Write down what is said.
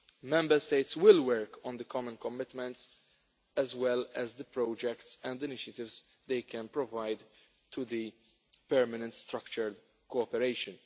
Member States will work on the common commitments as well as the projects and initiatives they can provide to the permanent structured cooperation.